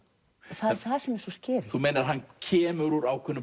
það er það sem er svo þú meinar að hann kemur úr ákveðnu